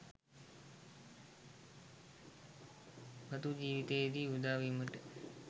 මතු ජීවිතයේදී උදා වීමට